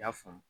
I y'a faamu